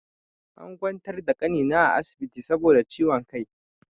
An ƙwantar da ƙanina a asibiti saboda ciwon ƙai.